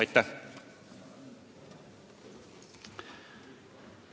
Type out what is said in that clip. Aitäh!